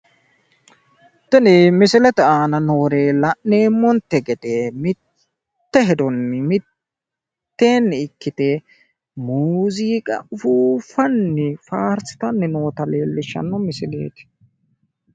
Tini misilete aana noori la'neemmonte gede mitte hedonni mitteenni ikkite muuziiqa ufuuffanni faarsitanni noota leellishshanno misileeti.